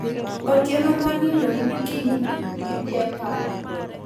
Otieno monindo ni kiny gidhi e pala.